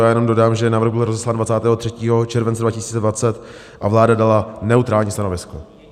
Já jenom dodám, že návrh byl rozeslán 23. července 2020 a vláda dala neutrální stanovisko.